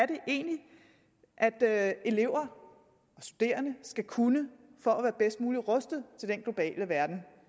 det egentlig er elever og studerende skal kunne for at være bedst muligt rustet til den globale verden